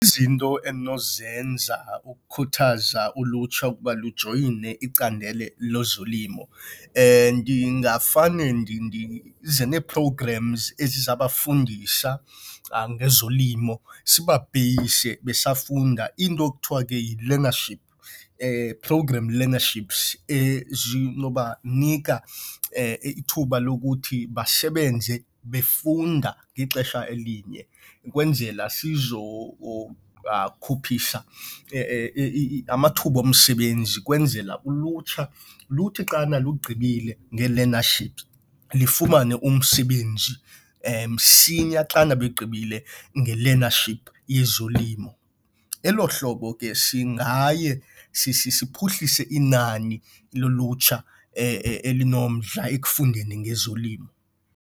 Izinto endinozenza ukukhuthaza ulutsha ukuba lujoyine icandelo lezolimo ndingafane ndize nee-programs ezizabafundisa ngezolimo sibapeyise besafunda into ekuthiwa ke yi-learnership program learnerships zinobanika ithuba lokuthi basebenze befunda ngexesha elinye. Ukwenzela sizokhuphisa amathuba omsebenzi ukwenzela ulutsha luthi xana lugqibile ngee-learnership lifumane umsebenzi msinya xana lugqibile nge-learnership yezolimo. Elo hlobo ke singaye siphuhlise inani lolutsha elinomdla ekufundeni ngezolimo.